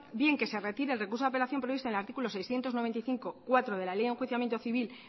bien que se retire el recurso de apelación previsto en el artículo seiscientos noventa y cinco punto cuatro de la ley de enjuiciamiento civil